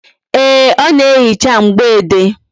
Ee, ọ na-ehicha mgboede